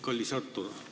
Kallis Artur!